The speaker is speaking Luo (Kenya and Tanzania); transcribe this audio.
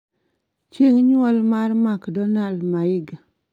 chieng' nyuol ma makdonal maiga